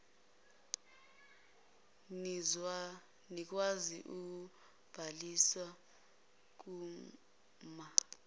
nikwazi ukubhaliswa kuma